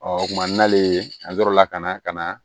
Ɔ o kumana n'ale ye a yɔrɔ la ka na ka na